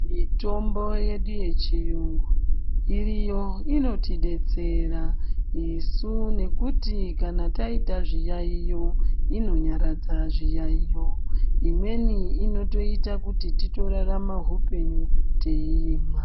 Mitombo yedu yechiyungu iryo inotidetsera isu nekuti kana taita zviyayiyo inonyaradza zviyayiyo imweni inoita kuti titorarama hupenyu teyimwa.